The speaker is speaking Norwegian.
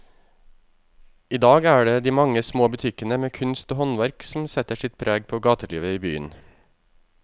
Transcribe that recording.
I dag er det de mange små butikkene med kunst og håndverk som setter sitt preg på gatelivet i byen.